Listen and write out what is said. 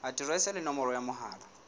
aterese le nomoro ya mohala